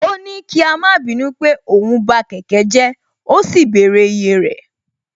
Ó ní kí a má bínú pé òun ba kẹ̀kẹ́ jẹ́ ó sì bẹ̀rẹ̀ iye rẹ̀